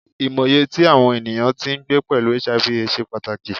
Imọye ti awọn eniyan ti ngbe pẹlu Hiv/Aids ṣe pataki